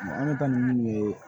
An bɛ taa ninnu ye